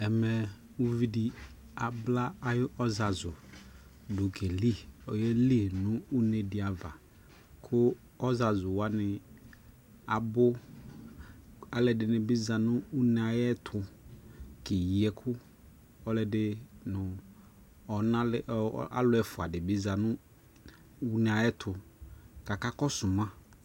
Ɛmɛ uvi di abla ayʋ ɔzazu keli, oyeli nʋ une di ava kʋ ɔzazuwani abʋ Alʋɔdi ni bi za nʋ une ayʋɛtʋkeyi ɛkʋ Ɔlʋɔdi nʋ ɔna lɛ alʋɛfua di bi za nʋune ayʋɛtʋ ka akakɔsu ma